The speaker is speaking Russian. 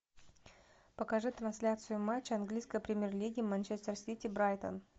покажи трансляцию матча английской премьер лиги манчестер сити брайтон